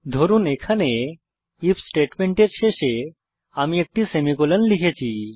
ধরুন এখানে আইএফ স্টেটমেন্টের শেষে আমি একটি সেমিকোলন লিখেছি